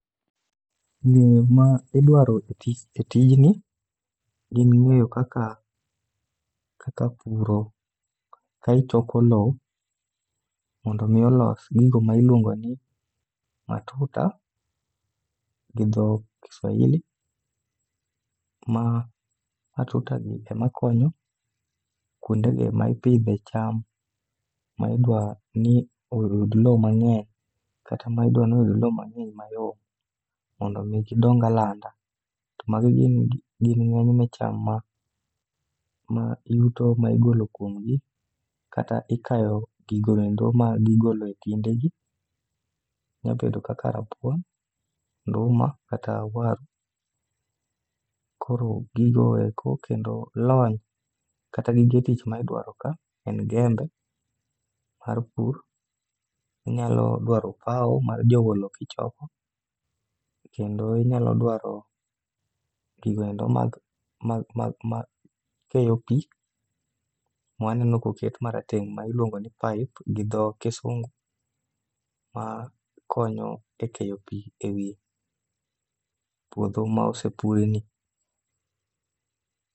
Ng'eyo ma idwaro e tijni gin ng'eyo kaka puro, ka ichoko lowo mondo omi olos gigo ma ilwongo ni matuta gi dho kiswahili, ma matutagi ema konyo kwonde gi ema ipidhe cham ma idwa ni oyud lowo mang'eny kata ma idwa ni oyud lowo mang'eny mayom mondo omi gidong alanda. Magi gin ng'enyne cham ma yuto ma igolo kwomgi, kata ikayo gigo endo magigolo e kinde gi, nya bedo kaka rabuon, nduma kata waru. Koro gigo eko kendo lony kata gige tich ma idwaro ka en jembe mar pur, inyalo dwaro opawo mar jowo lowo kichoko, kendo inyalo dwaro gigo endo makeyo pi ,maneno koket marateng' ma iluongo ni pipe gi dho kisungu ma konyo e keyo pi e wi puodho ma osepurni.